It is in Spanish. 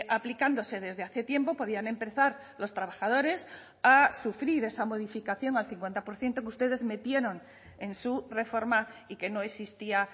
aplicándose desde hace tiempo podían empezar los trabajadores a sufrir esa modificación al cincuenta por ciento que ustedes metieron en su reforma y que no existía